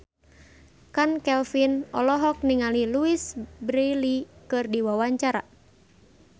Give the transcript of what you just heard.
Chand Kelvin olohok ningali Louise Brealey keur diwawancara